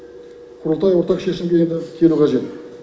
құрылтай ортақ шешімге енді келуі қажет